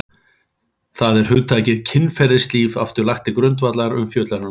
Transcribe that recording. Þar er hugtakið kynferðislíf aftur lagt til grundvallar umfjöllunar um kynlíf.